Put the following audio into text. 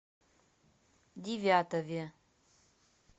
девятове